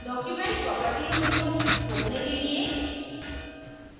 document properties window खोलने के लिए